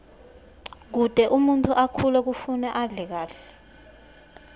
kute umuntfu akhule kufuna adle kahle